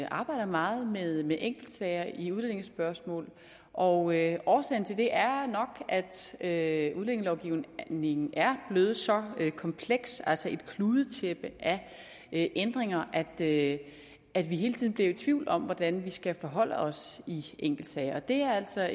arbejder meget med med enkeltsager i udlændingespørgsmål og årsagen til det er nok at udlændingelovgivningen er blevet så kompleks altså et kludetæppe af ændringer at at vi hele tiden bliver i tvivl om hvordan vi skal forholde os i enkeltsager det er altså